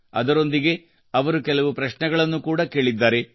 ಅದರೊಂದಿಗೆ ಅವರು ಕೆಲವು ಪ್ರಶ್ನೆಗಳನ್ನು ಕೂಡಾ ಕೇಳಿದ್ದಾರೆ